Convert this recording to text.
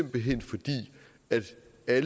er